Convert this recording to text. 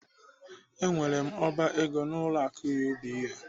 Enwere m oba ego n'ụlọ akụ UBA.